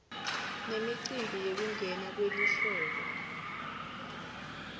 nemicimbi yekungena kwelihlobo